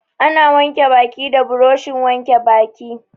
Ana wanke baki da buroshin wanke baki.